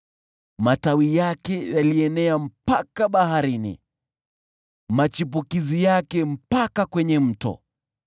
Matawi yake yalienea mpaka Baharini, machipukizi yake mpaka kwenye Mto.